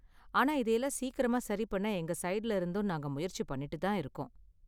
ஆனா, இதை எல்லாம் சீக்கிரமா சரி பண்ண எங்க ஸைடுல இருந்தும் நாங்க முயற்சி பண்ணிட்டு தான் இருக்கோம்